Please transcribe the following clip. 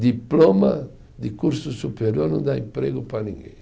Diploma de curso superior não dá emprego para ninguém.